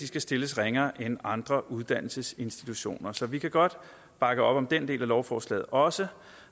skal stilles ringere end andre uddannelsesinstitutioner så vi kan godt bakke op om den del af lovforslaget også